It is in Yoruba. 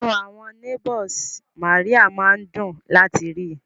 Inú àwọn neigbours Mary máa ń dùn láti rí i